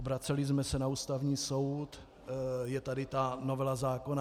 Obraceli jsme se na Ústavní soud, je tady ta novela zákona.